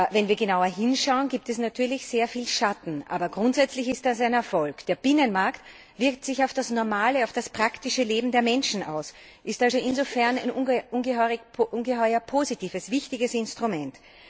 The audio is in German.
Wenn wir genauer hinschauen, gibt es natürlich sehr viel Schatten, aber grundsätzlich ist das ein Erfolg. Der Binnenmarkt wirkt sich auf das normale, praktische Leben der Menschen aus, ist also insofern ein ungeheuer positives und wichtiges Instrument.